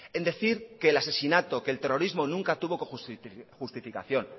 en decir que el asesinato o el terrorismo nunca tuvo justificación